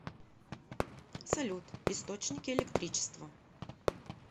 салют источники электричество